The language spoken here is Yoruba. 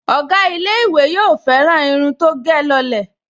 Ọ̀gá ilé-ìwé yóò fẹ́ràn irun tó gẹ̀ lọ lẹ̀